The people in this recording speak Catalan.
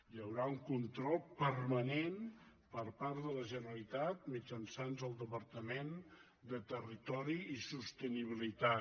hi haurà un control permanent per part de la generalitat mitjançant el departament de territori i sostenibilitat